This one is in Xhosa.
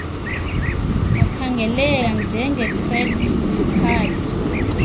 akhangeleka njengecredit card